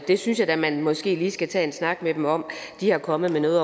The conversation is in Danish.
det synes jeg da man måske lige skal tage en snak med dem om de er kommet med